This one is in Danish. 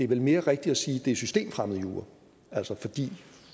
vel mere rigtigt at sige at det er systemfremmed jura altså fordi